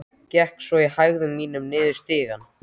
Gekk svo í hægðum mínum niður stigann.